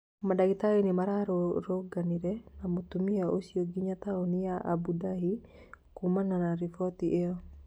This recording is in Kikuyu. Mandagĩtarĩ na mararũrũngananire na mũtumia ũcio nginya taoni ya Abu Dhabi kuumana na riboti ĩyo